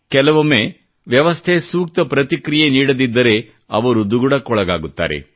ಕೆಲವೊಮ್ಮೆ ವ್ಯವಸ್ಥೆ ಸೂಕ್ತ ಪ್ರತಿಕ್ರಿಯೆ ನೀಡದಿದ್ದರೆ ಅವರು ದುಗುಡಕ್ಕೊಳಗಾಗುತ್ತಾರೆ